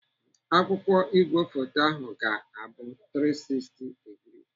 Akụkụ igwefoto hụ ga-abụ 360 digrii.